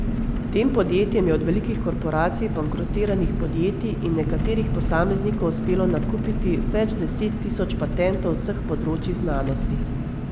Tem podjetjem je od velikih korporacij, bankrotiranih podjetij in nekaterih posameznikov uspelo nakupiti več deset tisoč patentov z vseh področij znanosti.